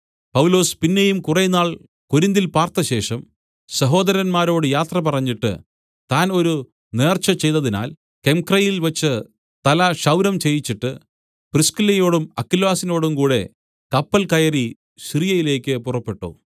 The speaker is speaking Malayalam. പൗലൊസ് പിന്നെയും കുറേനാൾ കൊരിന്തിൽ പാർത്തശേഷം സഹോദരന്മാരോട് യാത്ര പറഞ്ഞിട്ട് താൻ ഒരു നേർച്ച ചെയ്തതിനാൽ കെംക്രയയിൽവച്ച് തല ക്ഷൗരം ചെയ്യിച്ചിട്ട് പ്രിസ്കില്ലയോടും അക്വിലാസിനോടും കൂടെ കപ്പൽ കയറി സിറിയയിലേക്ക് പുറപ്പെട്ടു